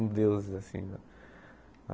Uns deuses, assim.